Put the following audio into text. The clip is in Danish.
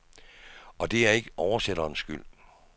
Og det er ikke oversætterens skyld.